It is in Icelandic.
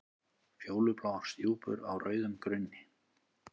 Fjólubláar stjúpur á rauðum grunni.